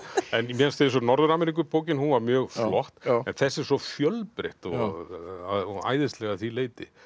mér finnst eins og Norður Ameríku bókin hún var mjög flott en þessi er svo fjölbreytt og æðisleg að því leyti